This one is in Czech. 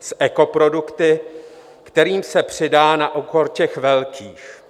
s ekoprodukty, kterým se přidá na úkor těch velkých.